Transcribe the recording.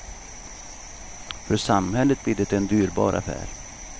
För samhället blir det en dyrbar affär.